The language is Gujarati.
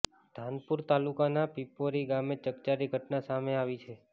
ધાનપુર તાલુકાના પીપેરો ગામે ચકચારી ઘટના સામે આવી છે